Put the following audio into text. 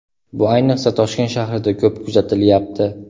Bu ayniqsa, Toshkent shahrida ko‘p kuzatilyapti.